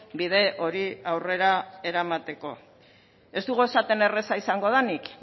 bide hori aurrera eramateko ez dugu esaten erraza izango denik